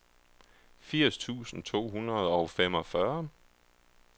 firs tusind to hundrede og femogfyrre